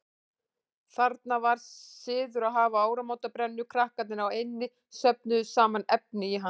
Þarna var siður að hafa áramótabrennuna, krakkarnir á eynni söfnuðu saman efni í hana.